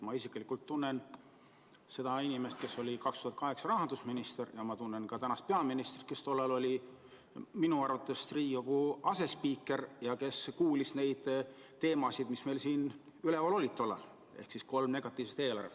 Ma isiklikult tunnen seda inimest, kes oli 2008 rahandusminister, ja ma tunnen ka tänast peaministrilt, kes tollal oli minu arvates Riigikogu asespiiker ja kuulis, mis teemad meil siin tollal üleval olid, ehk siis kolm negatiivset eelarvet.